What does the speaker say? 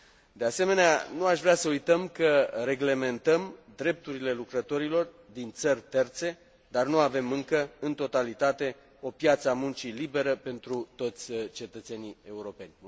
De asemenea, nu aș vrea să uităm că reglementăm drepturile lucrătorilor din țări terțe, dar nu avem încă în totalitate o piață a muncii liberă pentru toți cetățenii europeni.